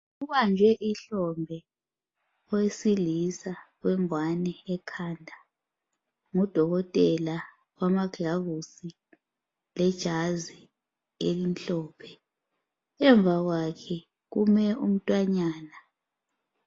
Ubambe ihlombe owesilisa olengwane ekhanda. Ngodokotela ulamagilavusi lebhatshi elimhlophe. Emva kwakhe kume umntwanyana.